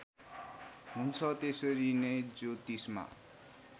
हुन्छ त्यसरी नै ज्योतिषमा